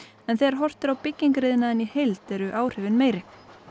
en þegar horft er á byggingariðnaðinn í heild eru áhrifin meiri